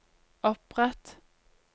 opprett